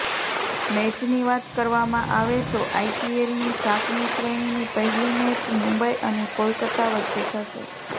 મેચની વાત કરવામાં આવે તો આઇપીએલની સાતમી શ્રેણીની પહેલી મેચ મુંબઇ અને કોલકતા વચ્ચે થશે